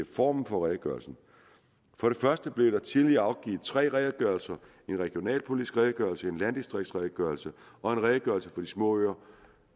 formen på redegørelsen for det første blev der tidligere givet tre redegørelser en regionalpolitisk redegørelse en landdistriktsredegørelse og en redegørelse for de små øer